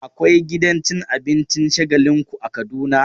Akwai gidan cin abincin Shagalinku a Kaduna.